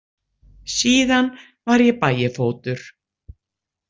Síðan var ég Bægifótur.